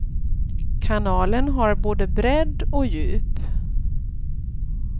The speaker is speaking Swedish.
Kanalen har både bredd och djup.